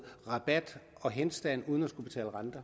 rabat og henstand uden at skulle betale renter